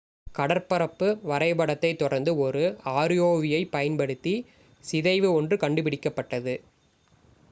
கடற்பரப்பு வரைபடத்தைத் தொடர்ந்து ஒரு rov-ஐப் பயன்படுத்தி சிதைவு ஒன்று கண்டுபிடிக்கப்பட்டது